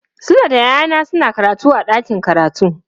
Sule da yayana suna karatu a dakin karatu.